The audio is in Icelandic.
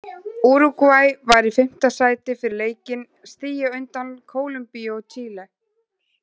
Úrúgvæ var í fimmta sæti fyrir leikinn, stigi á undan Kólumbíu og Chile.